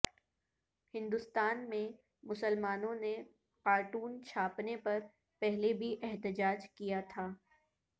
ہندوستان میں مسلمانوں نے کارٹون چھاپنے پر پہلے بھی احتجاج کیا تھا